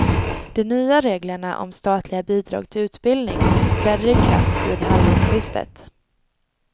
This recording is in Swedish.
De nya reglerna om statliga bidrag till utbildning träder i kraft vid halvårsskiftet.